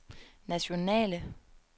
nationale